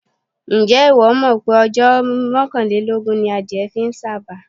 Ǹjẹ́ ìwọ́ mọ̀ pé ọjọ́ mọ́kàlélógún ni adìẹ fi ń sàba?